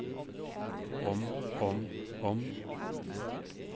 om om om